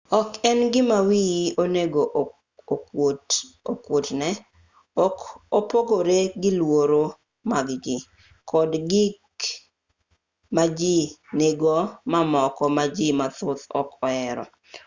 ok en gima wiyi onego okuotne ok opogore gi luoro mag jii kod gik maji nigodo mamoko ma ji mathoth ok ohero